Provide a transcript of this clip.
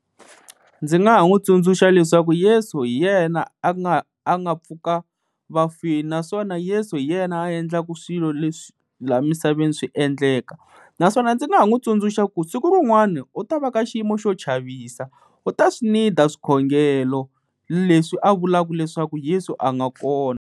Ndzi nga ha n'wi tsundzuxa leswaku Yesu hi yena a nga a nga pfuka vafini. Naswona Yesu hi yena a endlaka swilo leswi laha misaveni swi endleka, naswona ndzi ha n'wi tsundzuxa ku siku rin'wana u ta va ka xiyimo xo chavisa u ta swi need-a swikhongelo leswi a vulaka leswaku Yesu a nga kona.